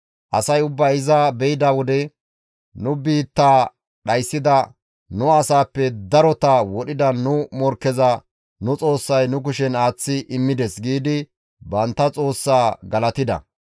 Asay ubbay iza beyda wode, «Nu biitta dhayssida, nu asaappe darota wodhida nu morkkeza nu xoossay nu kushen aaththi immides» giidi bantta xoossaa galatida.